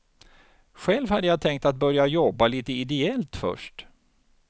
Själv hade jag tänkt att börja jobba lite ideellt först.